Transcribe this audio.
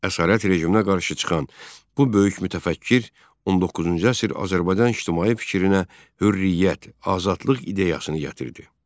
Əsarət rejiminə qarşı çıxan bu böyük mütəfəkkir 19-cu əsr Azərbaycan ictimai fikrinə hürriyyət, azadlıq ideyasını gətirdi.